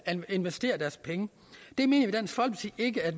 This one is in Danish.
investere deres penge det mener